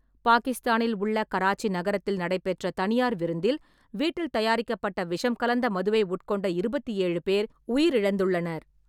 பாகிஸ்தானில் உள்ள கராச்சி நகரத்தில் நடைபெற்ற தனியார் விருந்தில் வீட்டில் தயாரிக்கப்பட்ட விஷம் கலந்த மதுவை உட்கொண்ட இருபத்தி ஏழு பேர் உயிரிழந்துள்ளனர்.